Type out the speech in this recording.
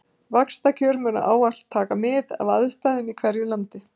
Vaxtakjör munu ávallt taka mið af aðstæðum í hverju landi.